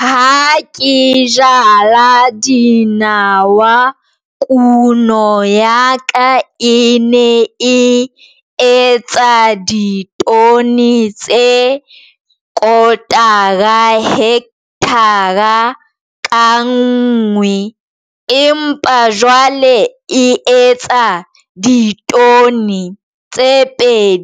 Ha ke jala dinawa kuno ya ka e ne e etsa ditone tse quarter hekthara ka nngwe empa jwale e etsa ditone tse